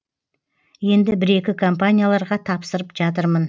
енді бір екі компанияларға тапсырып жатырмын